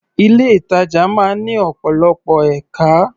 Ilé-ìtàjà máa ń ní ọ̀pọ̀lọpọ̀ ẹ̀ka.